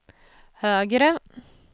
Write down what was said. högre